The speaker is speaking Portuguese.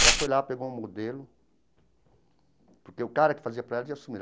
Ela foi lá, pegou um modelo, porque o cara que fazia para ela tinha sumido.